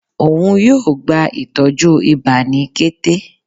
òún yóò gbá ìtọjú ìbá ni kété